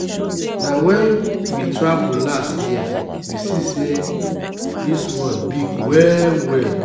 na wen we travel last year we see sey dis world big well-well.